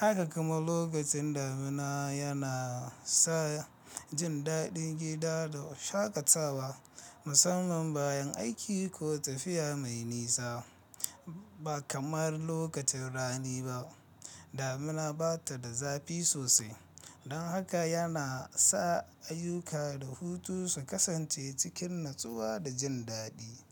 Haka kuma lokacin damina yana sa jin dadin gida da oshakatawa musamman bayan aiki ko tafiya mai nisa. Ba kamar lokacin rani ba, damina bata da zafi sosai don haka yana sa ayyuka da hutu su kasance cikin natsuwa da jin dadi.